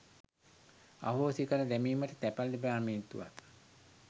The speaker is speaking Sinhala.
අහෝසි කර දැමීමට තැපැල් දෙපාර්තමේන්තුවත්